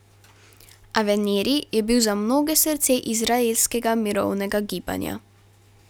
Avneri je bil za mnoge srce izraelskega mirovnega gibanja.